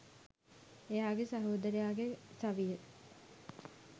එයාගේ සහෝදරයාගේ සවිය